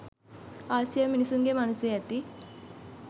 ආසියාවේ මිනිසුන්ගේ මනසේ ඇති